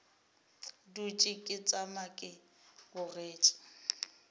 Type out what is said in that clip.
dutše ke tšama ke bogetše